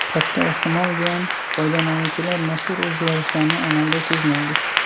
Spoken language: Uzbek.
Katta ehtimol bilan, foydalanuvchilar mazkur o‘zgarishlarni amalda sezmaydi.